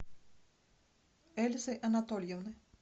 эльзы анатольевны